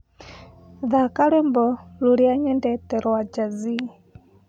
thaka rwĩmbo rũrĩa nyendete rwa jazz